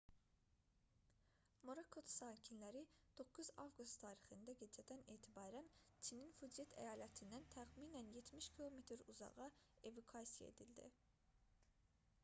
morakotu sakinləri 9 avqust tarixində gecədən etibarən çinin fucyen əyalətindən təxminən 70 km uzağa evakuasiya edildi